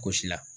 Gosi la